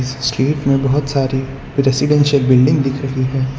इस स्ट्रीट में बहोत सारी रेसिडेंशियल बिल्डिंग दिख रही है।